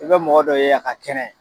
I bɛ mɔgɔ dɔ ye a ka kɛnɛ